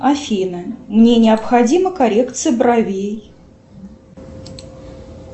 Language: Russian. афина мне необходима коррекция бровей